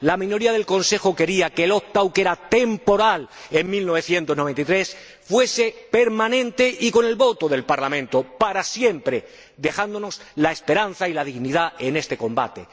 La minoría del Consejo quería que el opt out que era temporal en 1993, fuese permanente y, con el voto del Parlamento, para siempre, dejándonos la esperanza y la dignidad en este combate.